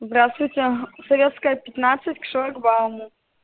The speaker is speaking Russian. здравствуйте советская пятнадцать к шлагбауму